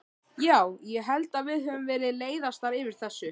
Já, ég held að við höfum verið leiðastar yfir þessu.